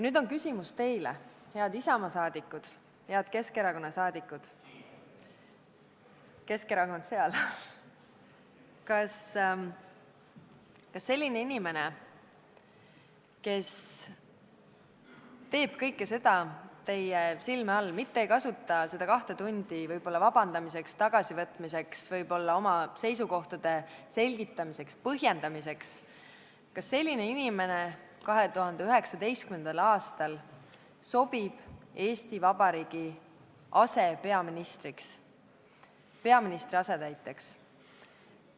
Nüüd on küsimus teile, head Isamaa liikmed ja head Keskerakonna liikmed: kas selline inimene, kes teeb kõike seda teie silme all, mitte ei kasuta seda kahte tundi vabandamiseks, sõnade tagasivõtmiseks, võib-olla oma seisukohtade selgitamiseks, põhjendamiseks, sobib 2019. aastal Eesti Vabariigi asepeaministriks, peaministri asetäitjaks?